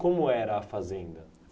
Como era a Fazenda?